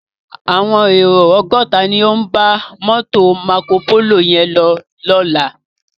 Áwòn éró ògòtá ló n bá mòtó Mákópóló yèn lò lòlá